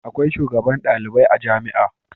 Akwai shugaban ɗalibai a jamia